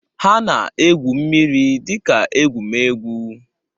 Ha na-egwu mmiri dika egwumegwu.